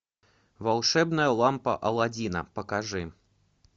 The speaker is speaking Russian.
волшебная лампа алладина покажи